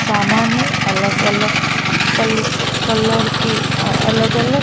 सामाने अलग-अलग कलर की अलग-अलग --